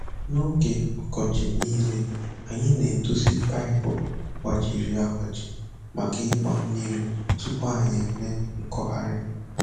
Na oge ọkọchị nile, anyị na-edozi paịpụ gbajiri agbaji maka ịgba mmiri tupu anyị eme nkọgharị.